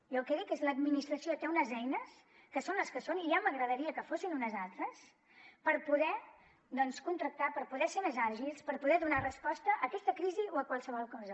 jo el que dic és que l’administració té unes eines que són les que són i ja m’agradaria que fossin unes altres per poder contractar per poder ser més àgils per poder donar resposta a aquesta crisi o a qualsevol cosa